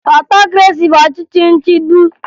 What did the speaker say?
Otokresi bụ ọchịchị nchigbu